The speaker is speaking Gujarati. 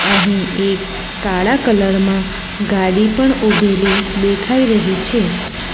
અહીં એક કાળા કલર માં ગાડી પણ ઉભેલી દેખાઈ રહી છે.